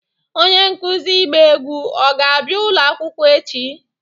Onye nkuzi ịgba egwu ọ ga-abịa ụlọ akwụkwọ echi?